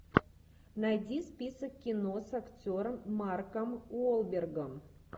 найди список кино с актером марком уолбергом